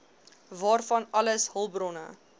waarvan alles hulpbronne